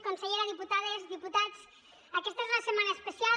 consellera diputades diputats aquesta és una setmana especial